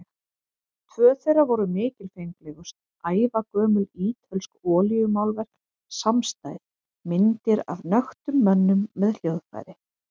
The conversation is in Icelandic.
Tvö þeirra voru mikilfenglegust, ævagömul ítölsk olíumálverk samstæð, myndir af nöktum mönnum með hljóðfæri.